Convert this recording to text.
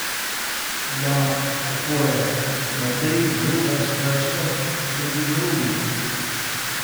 Da, tako je, Madrid žuga s prstom tudi drugim.